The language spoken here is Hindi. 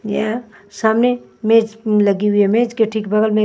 ये सामने मेज लगी हुई है मेज के ठीक बगल में--